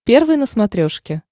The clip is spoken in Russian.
первый на смотрешке